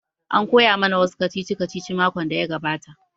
An koya ma na wa su kacici kacici makon da ya gabata